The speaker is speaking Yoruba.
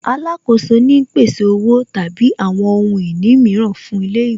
Alákoso ni ń pèsè Owó tàbí àwọn ohun ìní mìíràn fún ilé ìwé